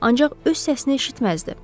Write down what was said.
Ancaq öz səsini eşitməzdi.